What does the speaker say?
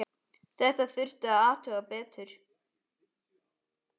Þetta þurfti að athuga betur.